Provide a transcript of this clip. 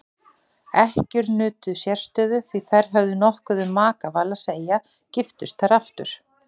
Ekkjur nutu sérstöðu því þær höfðu nokkuð um makaval að segja giftust þær aftur.